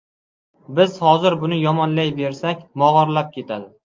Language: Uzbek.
Biz hozir buni yomonlayversak, mog‘orlab ketadi.